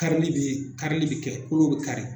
Karili bɛ karili bɛ kɛ kolo bɛ kari